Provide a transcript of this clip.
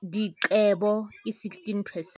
diqebo, ke 16 percent.